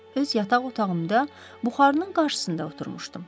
Öz yataq otağımda buxarının qarşısında oturmuşdum.